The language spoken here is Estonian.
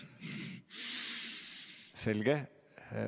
Selge.